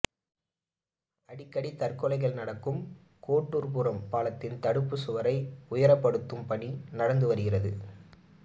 அடிக்கடி தற்கொலைகள் நடக்கும் கோட்டூர்புரம் பாலத்தின் தடுப்பு சுவரை உயரப்படுத்தும் பணி நடந்து வருகிறது